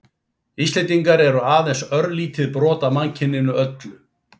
Íslendingar eru aðeins örlítið brot af mannkyninu öllu.